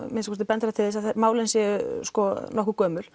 að minnsta kosti bendir það til þess að málin séu nokkuð gömul